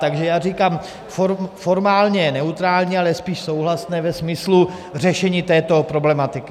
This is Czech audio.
Takže já říkám, formálně neutrální, ale spíš souhlasné ve smyslu řešení této problematiky.